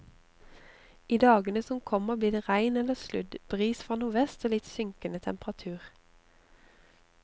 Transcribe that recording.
I dagene som kommer blir det regn eller sludd, bris fra nordvest og litt synkende temperatur.